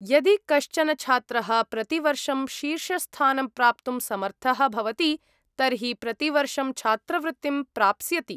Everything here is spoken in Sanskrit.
यदि कश्चन छात्रः प्रतिवर्षं शीर्षस्थानं प्राप्तुं समर्थः भवति तर्हि प्रतिवर्षं छात्रवृत्तिं प्राप्स्यति।